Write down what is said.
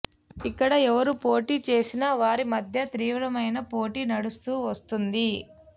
ఇక్కడ ఎవరు పోటీ చేసిన వారి మధ్య తీవ్రమైన పోటీ నడుస్తూ వస్తుంది